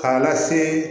K'a lase